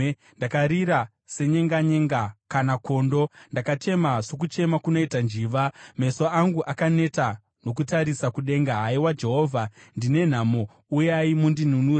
Ndakarira senyenganyenga kana kondo. Ndakachema sokuchema kunoita njiva. Meso angu akaneta nokutarisa kudenga. Haiwa Jehovha, ndine nhamo, uyai mundinunure!”